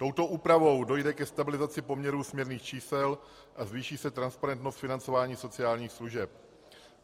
Touto úpravou dojde ke stabilizaci poměrů směrných čísel a zvýší se transparentnost financování sociálních služeb.